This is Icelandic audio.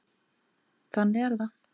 Þannig er það.